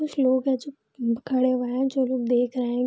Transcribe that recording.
कुछ लोग हैं जो खड़े हुए हैंजो लोग दिख रहे है ।